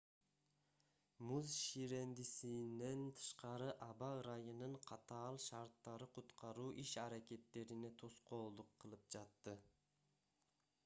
муз ширендисинен тышкары аба ырайынын катаал шарттары куткаруу иш-аракеттерине тоскоолдук кылып жатты